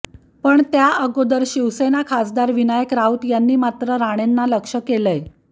पण त्याअगोदर शिवसेना खासदार विनायक राऊत यांनी मात्र राणेंना लक्ष्य केलंय